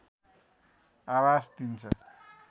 आभाष दिन्छ